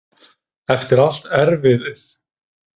Eftir allt erfiðið!